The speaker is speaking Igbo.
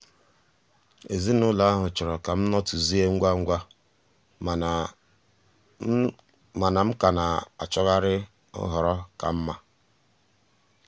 ezinụlọ ahụ chọrọ ka m nọtuzie ngwa ngwa mana m ka na-achọgharị nhọrọ ka mma.